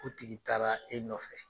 K'u tigi taara e nɔfɛ.